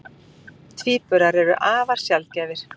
Tvíburar eru afar sjaldgæfir.